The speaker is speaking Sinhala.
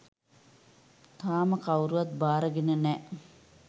තාම කවුරුවත් බාරගෙන නෑ.